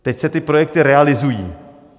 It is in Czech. Teď se ty projekty realizují.